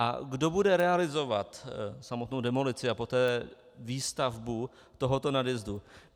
A kdo bude realizovat samotnou demolici a poté výstavbu tohoto nadjezdu?